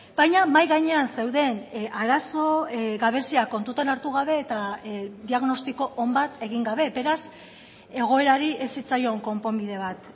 baina mahai gainean zeuden arazo gabeziak kontutan hartu gabe eta diagnostiko on bat egin gabe beraz egoerari ez zitzaion konponbide bat